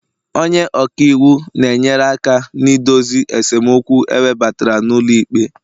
onye ọka iwu na-enyere aka na idozi esemokwu ewebata n'ụlọ ikpe